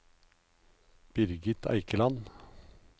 Birgit Eikeland